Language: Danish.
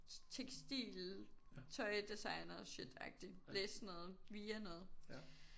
Tekstil tøj designer shit agtig læse sådan noget Via noget